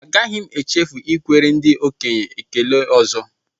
Agaghị m echefu ikwere ndị okenye ekele ọzọ